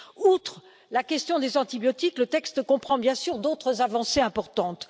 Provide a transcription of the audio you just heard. Outre la question des antibiotiques, le texte comprend bien sûr d'autres avancées importantes.